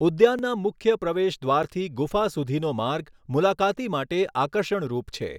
ઉદ્યાનના મુખ્ય પ્રવેશદ્વારથી ગુફા સુધીનો માર્ગ મુલાકાતી માટે આકર્ષણરૂપ છે.